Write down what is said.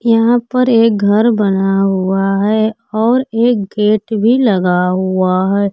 यहां पर एक घर बना हुआ है और एक गेट भी लगा हुआ है।